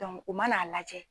u man'a lajɛ.